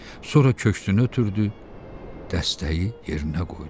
Sonra köksünü ötürdü, dəstəyi yerinə qoydu.